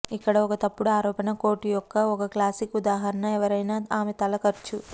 ఇక్కడ ఒక తప్పుడు ఆరోపణ కోట్ యొక్క ఒక క్లాసిక్ ఉదాహరణ ఎవరైనా ఆమె తల ఖర్చు